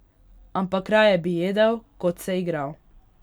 Ampak raje bi jedel, kot se igral.